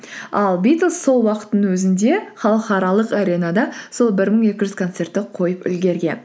ал битлз сол уақыттың өзінде халықаралық аренада сол бір мың екі жүз концертті қойып үлгерген